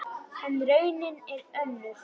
En raunin er önnur.